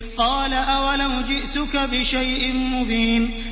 قَالَ أَوَلَوْ جِئْتُكَ بِشَيْءٍ مُّبِينٍ